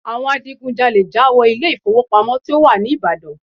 Àwọn adigunjalè já wọ ilé ìfowópamọ́ tí ó wà ní Ìbàdàn.